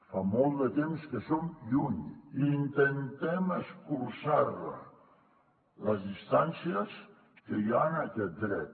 fa molt de temps que en som lluny i intentem escurçar les distàncies que hi ha en aquest dret